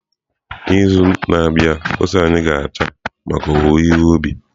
N'izu na-abịa ose anyị ga-ata maka owuwe ihe ubi.